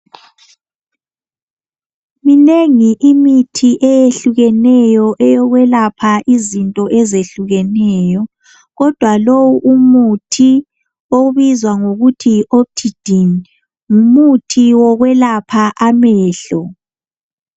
Minengi imithi eyehlukeneyo eyokwelapha izinto ezehlukeneyo . Kodwa lowu umuthi obizwa ngokuthi optidine ngumuthi wokwelapha amehlo .